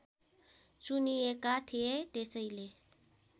चुनिएका थिए त्यसैले